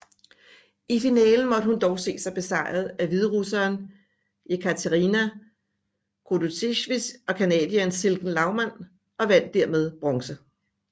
I finalen måtte hun dog se sig besejret af hviderusseren Jekaterina Khodotovitj og canadieren Silken Laumann og vandt dermed bronze